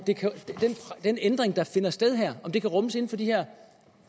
den ændring der finder sted her kan rummes inden for de her